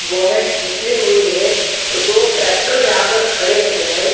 Bonnet निकली हुई है दो ट्रेक्टर यहाँ पर खड़े हे है।